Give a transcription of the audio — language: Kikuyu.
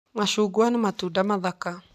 Macungwa nĩ matunda mathaka.